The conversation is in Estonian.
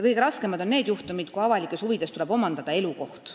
Kõige raskemad on need juhtumid, kui avalikes huvides tuleb omandada inimese elukoht.